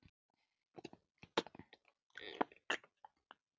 Hafa Eyjamenn áhuga á honum?